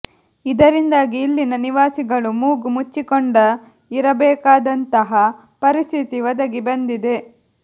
ಇದರಿಂದಾಗಿ ಇಲ್ಲಿನ ನಿವಾಸಿಗಳು ಮೂಗು ಮುಚ್ಚಿಕೊಂಡ ಇರಬೇಕಾದಂತಹ ಪರಿಸ್ಥಿತಿ ಒದಗಿ ಬಂದಿದೆ